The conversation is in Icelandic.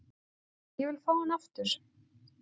Ég vil fá hann aftur.